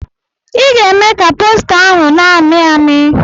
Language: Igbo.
I ga-eme ka posta ahụ na-amị amị!